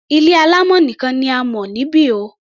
Ilé alámọ̀ nìkan ni a mọ̀ níbi o.